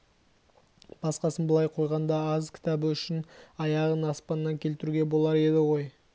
басқасын былай қойғанда аз кітабы үшін-ақ аяғын аспаннан келтіруге болар еді ғой